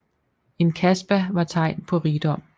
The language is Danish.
En kasbah var tegn på rigdom